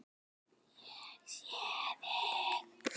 Er ég sorgmæddur?